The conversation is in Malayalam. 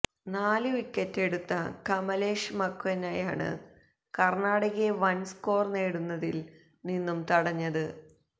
നാലു വിക്കറ്റെടുത്ത കമലേഷ് മക്വനയാണ് കര്ണാടകയെ വന് സ്കോര് നേടുന്നതില് നിന്നും തടഞ്ഞത്